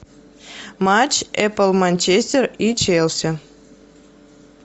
матч апл манчестер и челси